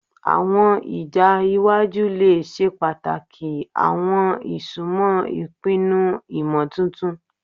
Awọn ija iwaju le ṣe pataki awọn isunmọ ipinnu imotuntun